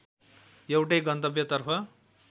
एउटै गन्तव्यतर्फ